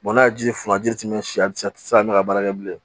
n'a ji funu ji tɛ ɲɛn a ti a ti se ka ne ka baara kɛ bilen